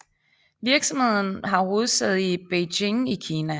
Virksomheden har hovedsæde i Beijing i Kina